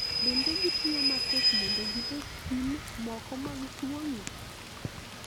bende gitiyo matek mondo gilos pim moko mag tuoni